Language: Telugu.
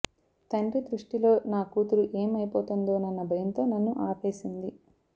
తండ్రి దృష్టిలో నా కూతురు ఏం అయిపోతుందోనన్న భయంతో నన్ను ఆపేసింది